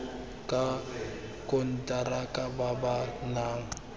ka konteraka ba ba nang